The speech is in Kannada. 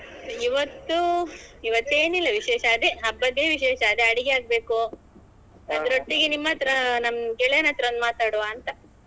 ಇವತ್ತು ಇವತ್ತು ಏನಿಲ್ಲ ವಿಶೇಷ ಅದೇ ಹಬ್ಬದ್ದೆ ವಿಶೇಷ ಅದೇ ಅಡಿಗೆಯಾಗ್ಬೇಕು ಅದರೊಟ್ಟಿಗೆ ನಿಮ್ಮತ್ರ ನಮ್ಮ್ ಗೆಳೆಯನತ್ರ ಒಂದ್ ಮಾತಾಡ್ವ ಅಂತ